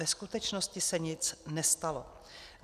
Ve skutečnosti se nic nestalo.